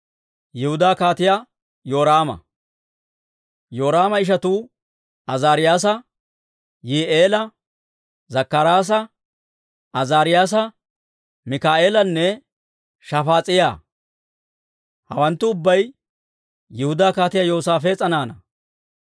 Yoraama ishatuu Azaariyyaasa, Yihi'eela, Zakkaraasa, Azaariyyaasa, Mikaa'eelanne Shafaas'iyaa; hawanttu ubbay Yihudaa Kaatiyaa Yoosaafees'a naanaa.